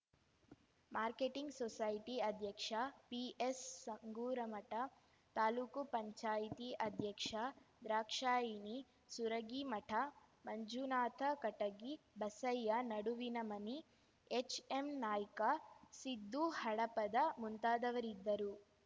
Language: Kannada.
ಮಾರ್ಕೆಟಿಂಗ್ ಸೊಸೈಟಿ ಅಧ್ಯಕ್ಷ ಪಿಎಸ್ ಸಂಗೂರಮಠ ತಾಲೂಕುಪಂಚಾಯ್ತಿ ಅಧ್ಯಕ್ಷ ದ್ರಾಕ್ಷಾಯಿಣಿ ಸುರಗಿಮಠ ಮಂಜುನಾಥ ಕಟಗಿ ಬಸಯ್ಯ ನಡುವಿನಮನಿ ಹೆಚ್ಎಮ್ನಾಯ್ಕ ಸಿದ್ದು ಹಡಪದ ಮುಂತಾದವರಿದ್ದರು